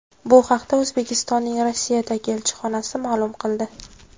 Bu haqda O‘zbekistonning Rossiyadagi elchixonasi ma’lum qildi .